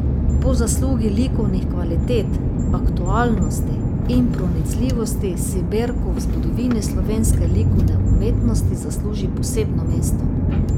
Po zaslugi likovnih kvalitet, aktualnosti in pronicljivosti si Berko v zgodovini slovenske likovne umetnosti zasluži posebno mesto.